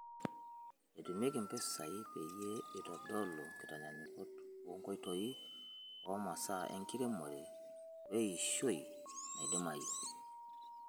Etumiaki mpishai peyie eitodolu nkitanyanyukot oo nkoitoi, omasaa enkiremore weiishioi naidimayu.